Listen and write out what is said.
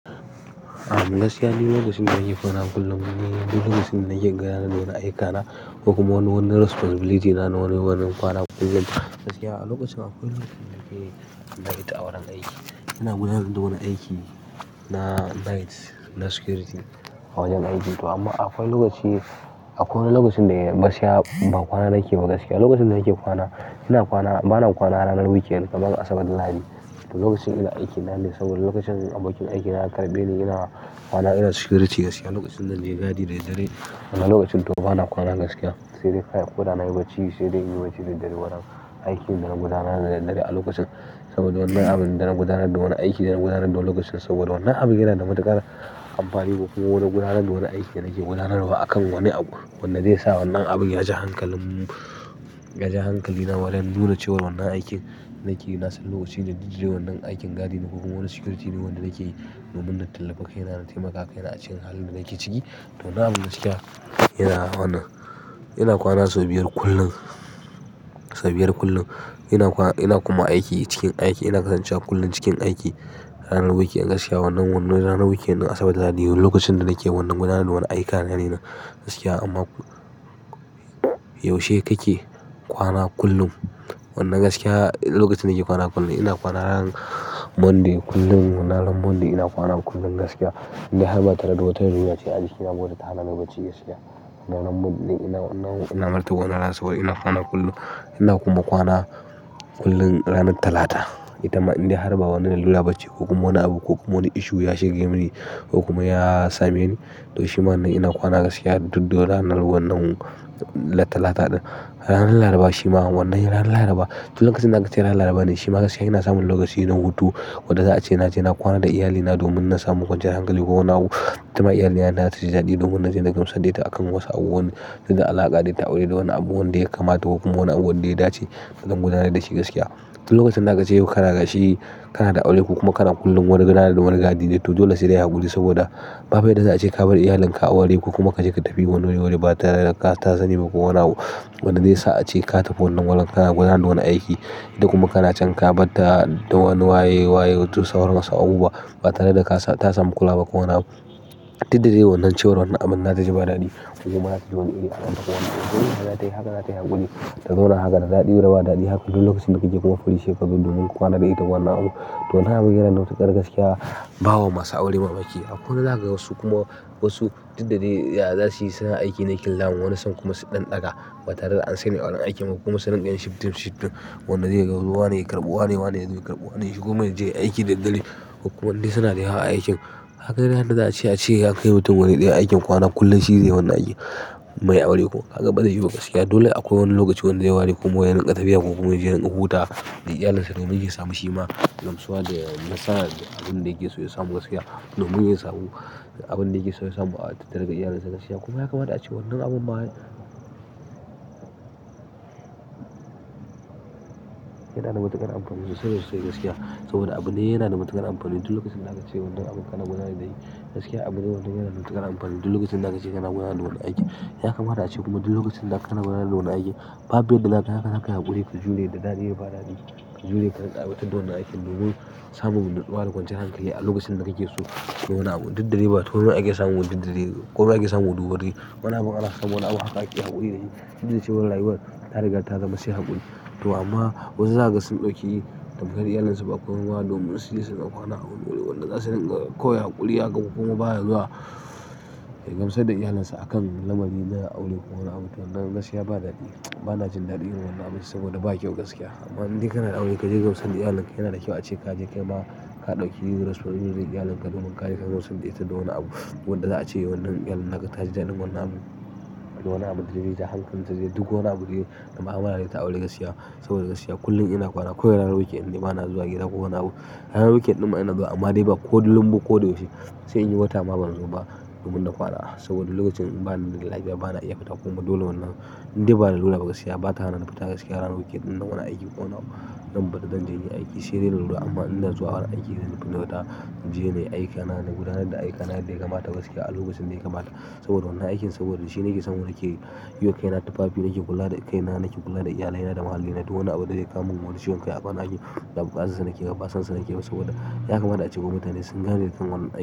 Am, gaskiya ni lokacin da nake kona kullum ni lokacin da nake gara na yi aiki na, kuma wani wani responsibility na-na wani-wani kwana kullum gaskiya a lokacin akwai lokacin da nake night awaran aiki. Ina gudanad da wani aiki na night na security a wajen aiki to amma akwai lokaci akwai wani lokacin da ya masa ya ba kwana nake gaskiya. Lokacin da nake kwana ina kwana bana kwana ranar weekend kaman Asabar. Labadi. To lokacin ina aiki na ne saboda lokacin abokin aiki na ya karɓe ni yana kwana ina security gaskiya. Lokacin danje gadi da daddare. Anan lokacin to bana kwana gaskiya. Sai dai kaya koda nayi bacci sai dai in yi bacci da dare. Waran aikin da na gudanar da dadare a lokacin saboda wannan abin da na gudanar da wani aiki da na gudanar da lokacin saboda wannan abin yana da matuƙar amfani. Kona gudanad da wani aiki da nake gudanarwa a kan wani abu. Wanda zai sa wannan abin ya ja hankalin, ya ja hankali na waren nunacewar wannan aikin nakeyi nasan lokacin da dijire wannan aikin gadi na. Kokuma wani security ne wanda nakeyi noman da tallafa kai na taimaka kai na acikin halin da nake ciki. To dam gaskiya yana wannan ina kwana sau biyar kullum, sau biyar kullum ina kwana ina kuma aiki cikin aiki ina kasancewa kullum cikin aiki rarar weekend gaskiya wannan-wannan ranar weekend na asarar da Lahadi lokacin da nake wannan gudanarwar war aika na ne nan gaskiya. Amma. Yaushe kake kwana kullum? Wannan gaskiya lokacin da nake kwana kullum ina kwana ran Monday kullum wannan ran Monday ina kwana kullum gaskiya indai har ma tare da wata riga ce ajikina wadda tahanani bacci gaskiya. Naran Monday ina wannan ina martaba ranar Asabar ina kwana kullum ina kuma kwana kullum ranat Talata. Itama in dai har ba wani lalura bace kokuma wani abu kokuma wani ishu ya shige mini kokuma ya same ni. To shima wannan ina kwana gaskiya duddun ranan wannan na talata ɗin har laraba shima wannan ran laraba. Tun lokacin da akace ranar Laraba ne shima gaskiya ina samun lokaci na hutu wanda za a ce ina je na kwana da iyalina domin na samu kwanci yan hankali ko wani abu. Ita ma iyalina na taji daɗi domin na je na gamsadda ita a kan wasu abubuwan na alaƙa dai ta aure da wani abu wanda ya kamata kokuma wani abu wanda ya dace akan gudanad da shi gaskiya. To lokacin da akace yo ƙara gashi kana da aure ko kuma kana kullum wani gada da wani gadi dai to dole sai dai haƙuri saboda ba fa yadda za a ce ka bar iyalinka a ware ko kuma kace ka tafi wani ware ba tare daka ta sani ba ko wani abu wanda zai sa ace ka tafi wannan waren kana gudanar da wani aiki. Kuma kana chan ka bat ta da wani waye-waye to sauran wasu abubuwa ba tare da ka ta samu kula ba ko wani abu. Didda dai wannan ciwar wannan abin na daji ba daɗi kuma ba ta jiyo iri a wata wani abu. Wannan haka za tayi haka za ta yi haƙuri. Ta zona haka da daɗi raba da daɗi hakku lokacin da kuke kaiwa funice ka dundu mun ka kwana da ita kwana abu. Ton han wan matuƙar gaskiya nawa masu aure mama. Ke hakai wasu kuma wasu kuma wasu diddade ya zasu yi sina aiki ne kyau zaga wani san kuma su ɗan daga ba tare da an sani awaren aikin ba kuma surinka yin shiftin-shiftin wannan dai ga wane ya karɓi wane-wane yazo ya karɓi wane shikuma yajeya aiki da daddare. Kuma indai suna da yawa, a aikin hakan handa za, ace ace yakai mutum wani ɗaya aikin kwana kullum shi zai yi wannan aiki mai aure ko kaga bazai yiwa ba gaskiya. Dole akwai wani lokaci wanda ya ware kuma yarinƙa tafiya kokuma yaje yarinka huta da iyalinsa domin yayi samu shima gamsuwa da nasara da abin da yake so ya samu gaskiya domin yayi samu abin da yake so ya samu a tattare ga iyalinsa gaskiya. Kuma ya kamata a ce wannan abun ba. Yanada matakar anfa. Yanda sa bas so gaskiya saboda abune yana da matuƙar anfani tun lokacin da aka ce wannan abun kana gudanad da hi gaskiya. Abune wanda yana da matuƙar anfani duk lokacin da aka ce kana gudanar da wani aikin. Ya kamata a ce kuma dul lokacin da kana gudanar da wani aikin ba bu yadda da ka yi haka zakayi haƙuri ka jure da daɗi ba daɗi. Yure ka rinƙa aiwa tadda wannan aiki domin samun nutsu wa da kwanciyan hankali a lokacin da kake so ko. Wani abu diddadai ba tawaya ake samu diddadai ko wake samu sabon duba dai. Yana maula kai yi haƙuri dahi yi. Dacewar rayuwar tariga ta zama mase haƙuri. To amma wazu zaga sun ɗauki. Tamkar iyalansu ba kowa bane su yi suna kwana haƙuri wanda na sanin da kowai haƙuri haka kokuma baya zuwa ya gamsad da iyalinsa a kan lamari na aure ko nawani abu. To nan gaskiya ba daɗi ba na jin daɗi irin wannan abun saboda ba kyau gaskiya. Amma inda kana da aure ka je gamsan iyalinka yana da kyau a ce kaje kaima ka ɗauki responsibilin iyalinka domin kayi ka gamsad da ita da wani abu wadda za a ce wannan iyalinka ta ji daɗin wannan abu. Wani abu da taje ta hankanta kanta je duk wani aburge da mahawara dai ta aure gaskiya saboda gaskiya kullum ina kwana koi ran weekend ba na zuwa gida ko wani abu. Har weekend ɗin ma ina zuwa amma dai ba kullum ba ko yau she sai nai wata ma ban zoba domin na kwana saboda lokacin ba nida lafiya ba na iya fita kullum dole wannan indai ba lalura ba gaskiya ba ta hanani fita gaskiya ranar weekendin nan. Wani aiki kwana wanda ba danje nai aiki. Ce da nurba amma ina zuwa har aiki da zai kunyata inje nayi aika na, na gudanad da aikana yadda yakamata gaskiya a lokacin ɗaya kamata saboda wannan aikin saboda dashi na ke samu nake yi wa kai na tufafi nake kula da kai na nake kula da iyalai na da muhallina. To wani abu dai zai kamin wani ciwon kai a kwana biyu ba ba, azza nake ba basansa nake ba saboda ya kamata a ce ma mutane sun yawan kai wan ai.